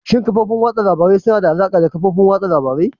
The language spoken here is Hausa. Shin kafofin watsa labarun suna da alaƙa da kafofin watsa labarai?